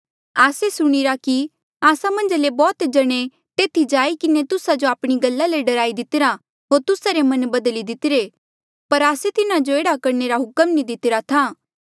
आस्से सुणिरा कि आस्सा मन्झा ले बौह्त जणे तेथी जाई किन्हें तुस्सा जो आपणी गल्ला ले डराई दितिरा होर तुस्सा रे मन बदली दितिरे पर आस्से तिन्हा जो एह्ड़ा करणे रा हुक्म नी दितिरा था